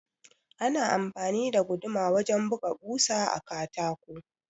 Ana amfani da guduma wajen buga ɓusa a katako.